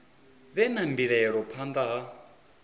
vhe na mbilaelo phanḓa ha